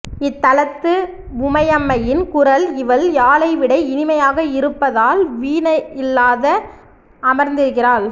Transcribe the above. இத்தலத்து உமையம்மையின் குரல் இவள் யாழைவிட இனிமையாக இருப்பதால் வீணையில்லாது அமர்ந்திருக்கிறாள்